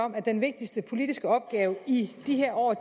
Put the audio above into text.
om at den vigtigste politiske opgave i de her år